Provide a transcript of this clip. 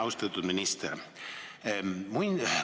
Austatud minister!